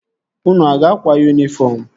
Unu a ga-akwa yunifọm?